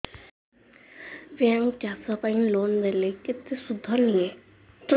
bank ଚାଷ ପାଇଁ loan ଦେଲେ କେତେ ସୁଧ ନିଏ